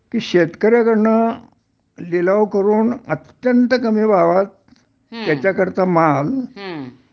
कि शेतकऱ्याकडंन लिलाव करून अत्यंत कमी भावात त्याच्याकडचा माल